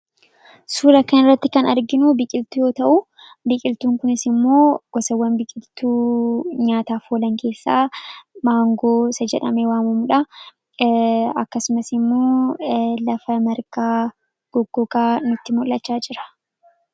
Suuraa kanarratti kan nuti arginu biqiltuu yoo ta'u, biqiltuun kunis immoo gosawwan biqiltuu nyaataaf oolan keessaa maangoo isa jedhamee waamamu dha. Akkasumas immoo lafa margaa goggogaa nutti mul'achaa jira.